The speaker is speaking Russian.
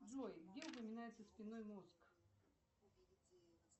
джой где упоминается спинной мозг